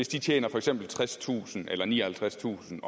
de tjener for eksempel tredstusind eller nioghalvtredstusind